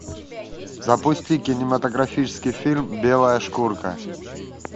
запусти кинематографический фильм белая шкурка